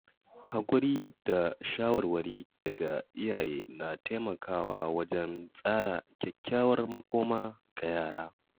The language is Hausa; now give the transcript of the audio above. Haƙuri da shawarwari daga iyaye na taimakawa wajen tsara kyakkyawar makoma ga yara.